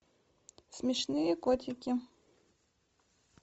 смешные котики